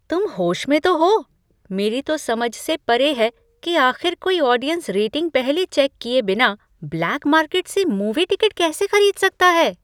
तुम होश में तो हो? मेरी तो समझ से परे है कि आख़िर कोई ऑडियंस रेटिंग पहले चेक किए बिना ब्लैक मार्केट से मूवी टिकट कैसे खरीद सकता है?